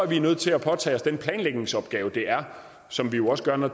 vi er nødt til at påtage os den planlægningsopgave det er og som vi jo også gør når